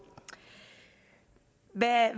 hvad